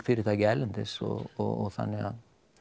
fyrirtæki erlendis og þannig að